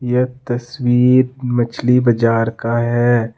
यह तस्वीर मछली बाजार का है।